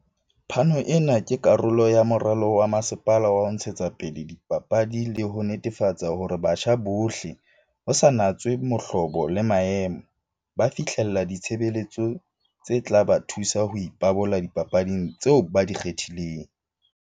"Phano ena ke karolo ya moralo wa masepala wa ho ntshetsapele dipapadi le ho netefatsa hore batjha bohle, ho sa natswe mohlobo le maemo, ba fihlella ditshebeletso tse tla ba thusa ho ipabola dipapading tseo ba di kgethileng."